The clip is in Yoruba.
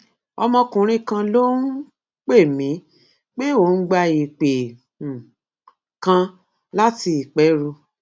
ọmọkùnrin kan ló um pè mí pé òun gba ìpè um kan láti ìpẹrù